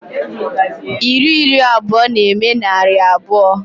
Iri iri abụọ na-eme narị abụọ.